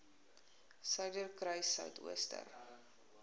suiderkruissuidooster